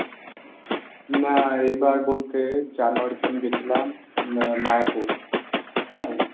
না এইবার বলতে January তে আমি গেছিলাম উম মায়াপুর। হ্যাঁ,